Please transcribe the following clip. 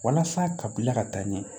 Walasa ka bila ka taa ɲɛ